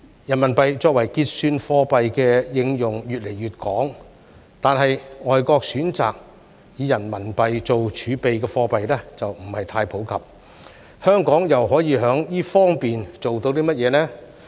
人民幣作為結算貨幣的應用越來越廣，但選擇以人民幣做儲備的外國貨幣卻不太普及，香港又可以在這方面做到甚麼呢？